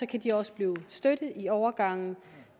kan de også blive støttet i overgangen